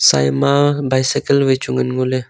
tsai ma bicycle vai chu ngan ngoley.